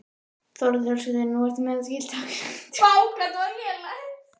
Þórhildur Þorkelsdóttir: Nú ertu með þetta skilti, af hverju?